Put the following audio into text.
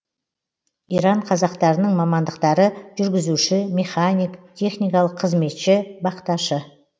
иран қазақтарының мамандықтары жүргізуші механик техникалық қызметші бақташы